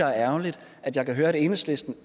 er ærgerligt at jeg kan høre at enhedslisten